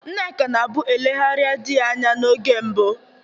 Nneka nabụ elegharịa dị ya anya n'oge mbụ.